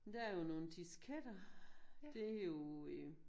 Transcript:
Der er jo nogle disketter. Det jo øh